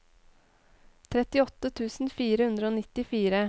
trettiåtte tusen fire hundre og nittifire